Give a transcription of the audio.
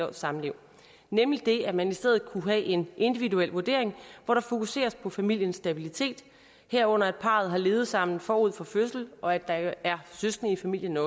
års samliv nemlig det at man i stedet kunne have en individuel vurdering hvor der fokuseres på familiens stabilitet herunder at parret har levet sammen forud for fødslen og at der også er søskende i familien